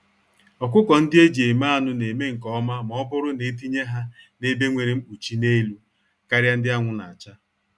Ọkụkọ-ndị-eji-eme-anụ neme nke ọma mọbụrụ netinye ha n'ebe nwere nkpuchi n'elu, karịa ndị anwụ nacha.